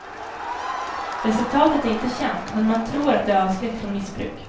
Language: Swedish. Resultatet är inte känt men man tror det avskräckt från missbruk.